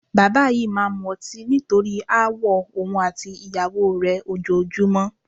Bàbá yìí máa ń mu ọtí nítorí aáwọ̀ òun àti ìyàwó rẹ ojoojúmọ́